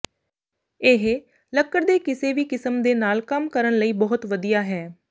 ਇਹ ਲੱਕੜ ਦੇ ਕਿਸੇ ਵੀ ਕਿਸਮ ਦੇ ਨਾਲ ਕੰਮ ਕਰਨ ਲਈ ਬਹੁਤ ਵਧੀਆ ਹੈ